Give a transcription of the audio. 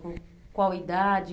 Com qual idade?